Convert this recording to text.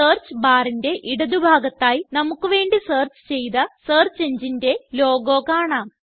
search barന്റെ ഇടതു ഭാഗത്തായി നമുക്ക് വേണ്ടി സെർച്ച് ചെയ്ത സെർച്ച് engineന്റെ ലോഗോ കാണാം